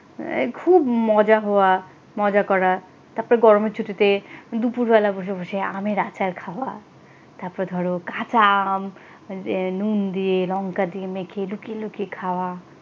খুব মজা হওয়া মজা করা তারপরে গরমের ছুটিতে দুপুরবেলা বসে বসে আমের আচার খাওয়া তারপর ধর কাঁচা আম নুন দিয়ে লঙ্কা দিয়ে মেখে লুকিয়ে লুকিয়ে খাওয়া।